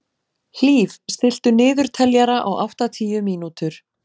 Hlíf, stilltu niðurteljara á áttatíu mínútur.